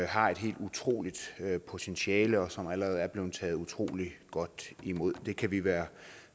har et helt utroligt potentiale og som allerede er blevet taget utrolig godt imod det kan vi være